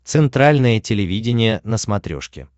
центральное телевидение на смотрешке